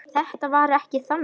Þetta var ekki þannig.